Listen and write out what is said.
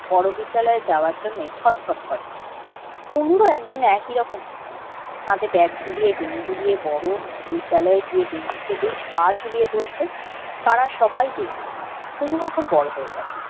বড় বিদ্যালয়ের যাওয়ার জন্য ছটফট করে পুনুরও এক দিন একই রকম হলো হাতে ব্যাগ ঝুলিয়ে ঝুলিয়ে বড়ো বিদ্যালয়ে গিয়ে বেঞ্চিতে বেশ পা ঝুলিয়ে বসবে পারার সবাই দেখবে পুনু এখন বড় হয়ে গেল